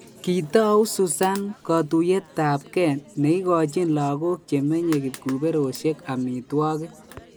Kitou Susan kotuyetap kee neigochin lagok che menye kipkuberosyek amitwogik.